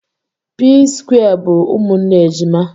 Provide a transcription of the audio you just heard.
p square bu umunne ejima